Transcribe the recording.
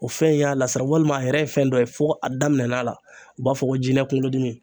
O fɛn in y'a lasira walima a yɛrɛ ye fɛn dɔ ye fo a daminɛn'a la u b'a fɔ ko jinɛ kunkolodimi.